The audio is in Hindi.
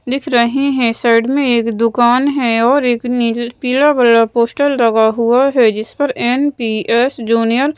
दिख रहे हैं साइड में एक दुकान हैं और एक नील पीला कलर पोस्टर लगा हुआ हैं जिस पर एन_पी_एस जूनियर --